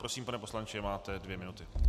Prosím, pane poslanče, máte dvě minuty.